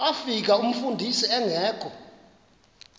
bafika umfundisi engekho